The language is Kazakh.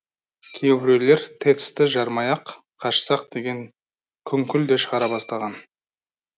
кейбіреулер тэц ті жармай ақ қашсақ деген күңкіл де шығара бастаған